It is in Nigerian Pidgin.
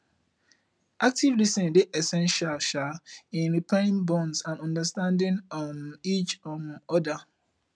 active lis ten ing dey essential um in repairing bonds and understanding um each um oda